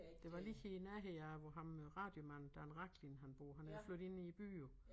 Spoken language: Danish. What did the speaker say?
Det var lige i nærheden af hvor ham øh radiomanden Dan Rachlin han bor han er flyttet ind i æ by jo